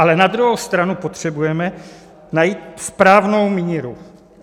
Ale na druhou stranu potřebujeme najít správnou míru.